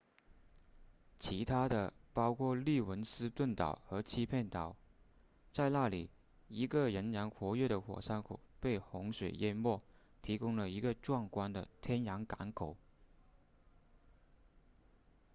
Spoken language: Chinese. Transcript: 其他的包括利文斯顿岛和欺骗岛在那里一个仍然活跃的火山口被洪水淹没提供了一个壮观的天然港口